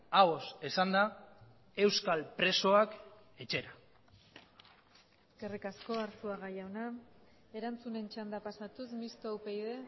ahoz esanda euskal presoak etxera eskerrik asko arzuaga jauna erantzunen txanda pasatuz mistoa upyd